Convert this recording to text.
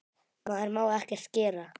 Maður má ekkert gera.